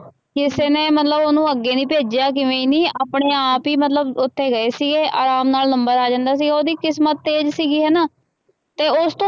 ਕਿਸੇ ਨੇ ਮਤਲਬ ਉਹਨੂੰ ਅੱਗੇ ਨੀ ਭੇਜਿਆ ਜਿਵੇਂ ਨੀ ਆਪਣੇ ਆਪ ਹੀ ਮਤਲਬ ਉੱਥੇ ਗਏ ਸੀਗੇ ਆਰਾਮ ਨਾਲ number ਆ ਜਾਂਦਾ ਸੀਗਾ ਉਹਦੀ ਕਿਸਮਤ ਤੇਜ ਸੀਗੀ ਹਨਾ, ਤੇ ਉਸ ਤੋਂ